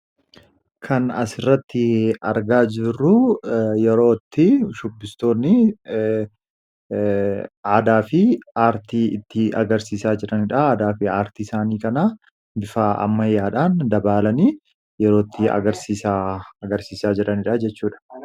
Kan as irratti argaa jirruu yerootti shubbistoonni aadaa fi aartii itti agarsiisaa jiraniidha aadaa fi aartii isaanii kana bifaa ammayyaadhaan dabaalanii yerootti aagarsiisaa jiraniidha jechuudha.